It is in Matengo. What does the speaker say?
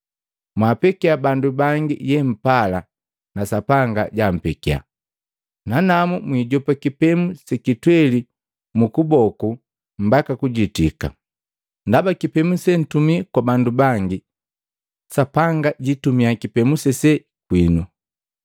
Mwapekia bandu bangi yeapala na Sapanga jampekya, nanamu mwiijopa kipemu sekitweli mukuboku mbaka kujitika. Ndaba kipemu sentumi kwa bandu bangi, Sapanga jiitumia kipemu sese kwinu.”